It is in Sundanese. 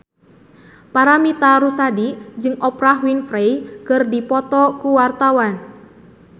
Paramitha Rusady jeung Oprah Winfrey keur dipoto ku wartawan